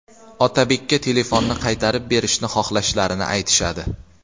Otabekka telefonni qaytarib berishni xohlashlarini aytishadi.